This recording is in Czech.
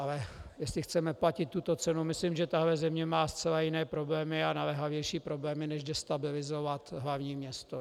Ale jestli chceme platit tuto cenu, myslím, že tato země má zcela jiné problémy a naléhavější problémy, než destabilizovat hlavní město.